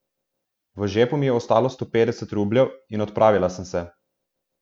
V žepu mi je ostalo sto petdeset rubljev in odpravila sem se.